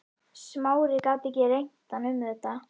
Smári gat ekki rengt hann um þetta.